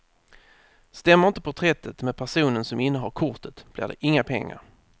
Stämmer inte porträttet med personen som innehar kortet blir det inga pengar.